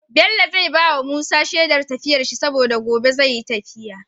Bello zai bawa Musa Shedar tafiyar shi saboda gobe zai yi tafiya